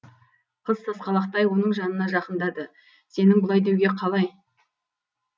қыз сасқалақтай оның жанына жақындады сенің бұлай деуге қалай